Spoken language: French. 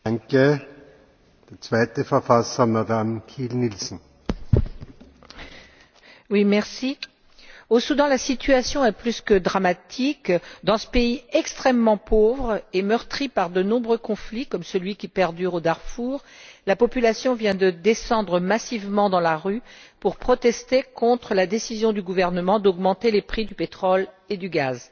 Monsieur le Président, au Soudan, la situation est plus que dramatique. Dans ce pays extrêmement pauvre et meurtri par de nombreux conflits, comme celui qui perdure au Darfour, la population vient de descendre massivement dans la rue pour protester contre la décision du gouvernement d'augmenter les prix du pétrole et du gaz.